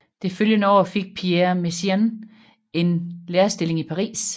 Det følgende år fik Pierre Messiaen en lærerstilling i Paris